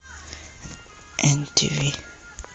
эн ти ви